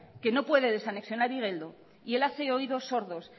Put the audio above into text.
que no puede desanexionar igeldo y él hace oídos sordos